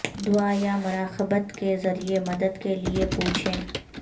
دعا یا مراقبت کے ذریعے مدد کے لئے پوچھیں